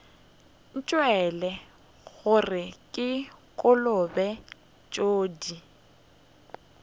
ntšwele gore ke kolobe tsodii